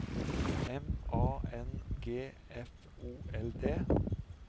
M A N G F O L D